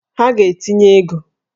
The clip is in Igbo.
Ha ga-etinye ego!